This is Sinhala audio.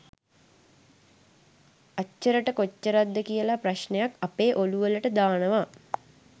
අච්චරට කොච්චරද කියල ප්‍රශ්නයක් අපේ ඔළුවලට දානවා